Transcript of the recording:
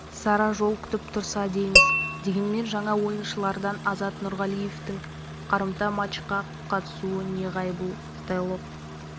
сара жол күтіп тұрса дейміз дегенмен жаңа ойыншылардан азат нұрғалиевтың қарымта матчқа қатысуы неғайбыл стойлов